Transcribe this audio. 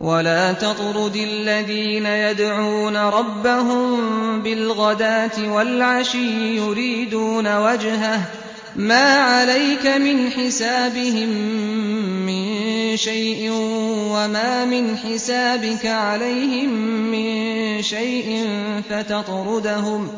وَلَا تَطْرُدِ الَّذِينَ يَدْعُونَ رَبَّهُم بِالْغَدَاةِ وَالْعَشِيِّ يُرِيدُونَ وَجْهَهُ ۖ مَا عَلَيْكَ مِنْ حِسَابِهِم مِّن شَيْءٍ وَمَا مِنْ حِسَابِكَ عَلَيْهِم مِّن شَيْءٍ فَتَطْرُدَهُمْ